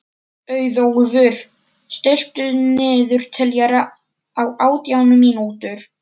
Auðólfur, stilltu niðurteljara á átján mínútur.